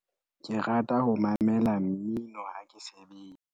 ke rata ho mamela mmino ha ke sebetsa